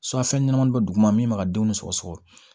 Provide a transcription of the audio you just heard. fɛn ɲɛnamaw bɛ duguma min b'a denw sɔgɔsɔgɔ